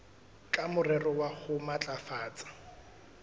ka morero wa ho matlafatsa